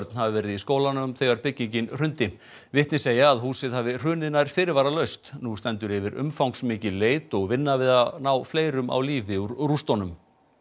hafi verið í skólanum þegar byggingin hrundi vitni segja að húsið hafi hrunið nær fyrirvaralaust nú stendur yfir umfangsmikil leit og vinna við að ná fleirum á lífi úr rústunum